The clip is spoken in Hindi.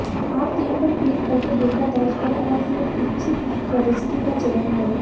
आप तीर पर क्लिक करके डेटा दर्ज करें और फिर इच्छित प्रविष्टि का चयन करें